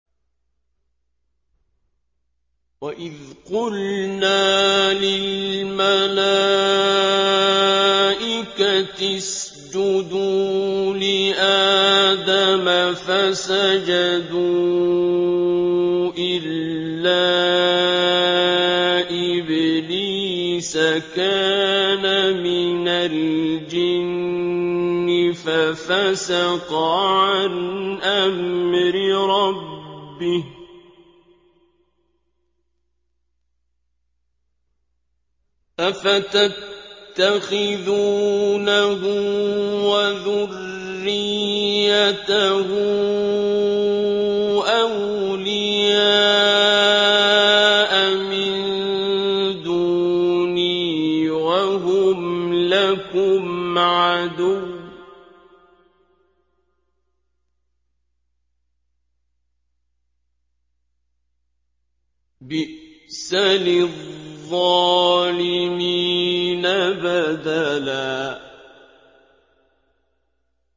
وَإِذْ قُلْنَا لِلْمَلَائِكَةِ اسْجُدُوا لِآدَمَ فَسَجَدُوا إِلَّا إِبْلِيسَ كَانَ مِنَ الْجِنِّ فَفَسَقَ عَنْ أَمْرِ رَبِّهِ ۗ أَفَتَتَّخِذُونَهُ وَذُرِّيَّتَهُ أَوْلِيَاءَ مِن دُونِي وَهُمْ لَكُمْ عَدُوٌّ ۚ بِئْسَ لِلظَّالِمِينَ بَدَلًا